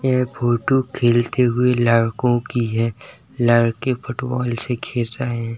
यह फोटो खेलते हुए लड़कों की ह | लड़के फुटबॉल से खेल रहे हैं |